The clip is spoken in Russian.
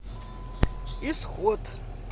исход